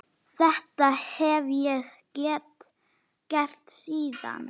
Þetta hef ég gert síðan.